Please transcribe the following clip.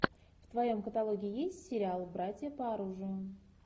в твоем каталоге есть сериал братья по оружию